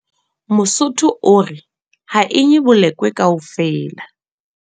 Mosotho o re, ha e nye bolokwe kaofela.